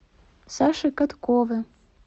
саше каткове